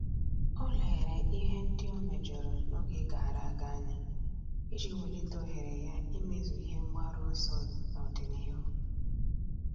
Ọ́ lérè ihe ndị ọ́ méjọ̀rọ̀ n’ógè gàrà ága anya iji wèlíté ohere ya ímézu ihe mgbaru ọsọ n’ọ́dị̀nihu.